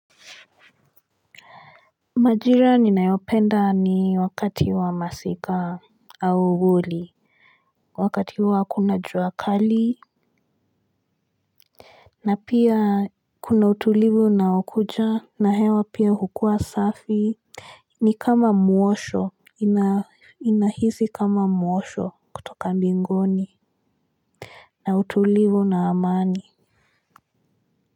Majira ninayopenda ni wakati wa masika au vuli wakati huo hakuna jua kali. Na pia kuna utulivu na ukuja na hewa pia hukua safi. Ni kama mwosho inahisi kama mwosho kutoka mbinguni. Na utulivu na amani.